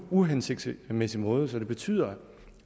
uhensigtsmæssig måde som betyder